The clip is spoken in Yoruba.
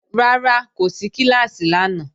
Rárá, kò sí kíláàsì lánàá